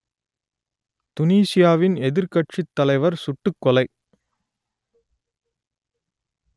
துனீசியாவின் எதிர்க்கட்சித் தலைவர் சுட்டுக் கொலை